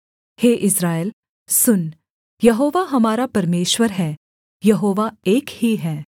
हे इस्राएल सुन यहोवा हमारा परमेश्वर है यहोवा एक ही है